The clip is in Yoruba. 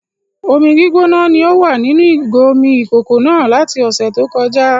Omi gbígbóná ni o wà nínú ìgò omi ìkókó náà láti ọ̀sẹ̀ tó kọjá